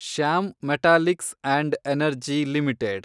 Shyam metalics and energy limited